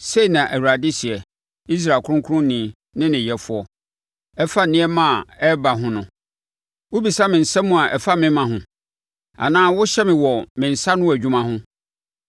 “Sei na Awurade seɛ, Israel Ɔkronkronni ne ne Yɛfoɔ; ɛfa nneɛma a ɛreba ho no. Wobisa me nsɛm a ɛfa me mma ho, anaa wohyɛ me wɔ me nsa ano adwuma ho?